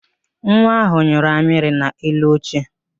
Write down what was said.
Nwa ahụ nyụrụ amịrị n'elu oche